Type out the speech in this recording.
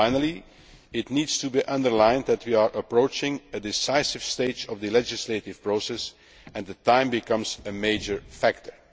Finally, it needs to be emphasised that we are approaching a decisive stage of the legislative process, and time is becoming a major factor.